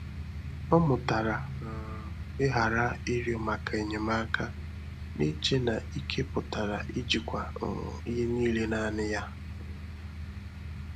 Ọ́ mụ́tàrà um ị́ghàra ị́rị́ọ́ màkà ényémáká, n'eche na ike pụ́tàrà íjíkwá um ìhè níílé nāànị́ yá. um